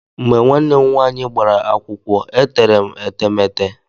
Mgbe nwaane m nwaanyị gbara akwụkwọ, e tere m etemete.